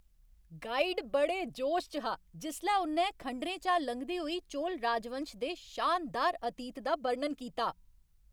Guide बड़े जोश च हा जिसलै उ'न्नै खंडरें चा लंघदे होई चोल राजवंश दे शानदार अतीत दा बर्णन कीता।